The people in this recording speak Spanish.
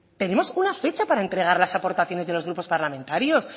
tenemos una fecha para entregar las aportaciones de los grupos parlamentarios